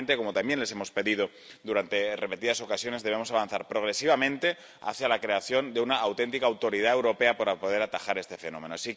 Y, finalmente, como también les hemos pedido durante repetidas ocasiones, debemos avanzar progresivamente hacia la creación de una auténtica autoridad europea, para poder atajar este fenómeno.